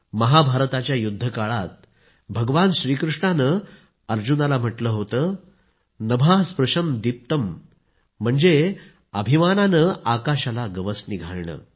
महाभारताच्या युद्धकाळात भगवान श्रीकृष्णाने अर्जुनाला म्हटले होतेनभः स्पृशं दीप्तम् म्हणजे अभिमानाने आकाशाला गवसणी घालणे